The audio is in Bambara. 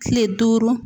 Kile duuru